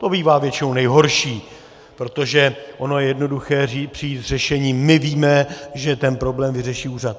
To bývá většinou nejhorší, protože ono je jednoduché přijít s řešením: my víme, že ten problém vyřeší úřad.